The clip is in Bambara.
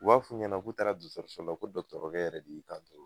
U b'a f'u ɲɛnɛ k'u taara dɔtɔrɔso la ko dɔtɔrokɛ yɛrɛ de y'i kan to